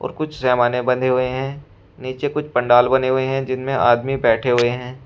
और कुछ जैमाने बधे हुए है नीचे कुछ पंडाल बने हुए है जिनमे आदमी बैठे हुए हैं।